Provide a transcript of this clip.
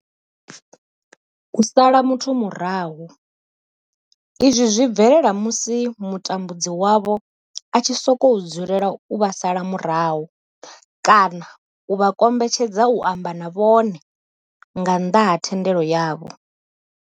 U sala muthu murahu izwi zwi bvelela musi mutambudzi wavho a tshi sokou dzulela u vha sala murahu kana a kombetshedza u amba na vhone nga nnḓa ha thendelo yavho.